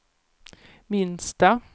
minsta